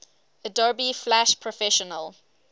adobe flash professional